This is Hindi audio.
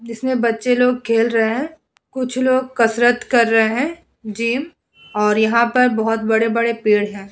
जिसमें बच्चे लोग खेल रहे हैं। कुछ लोग कसरत कर रहे हैं जिम और यहाँ पर बहोत बड़े-बड़े पेड़ हैं।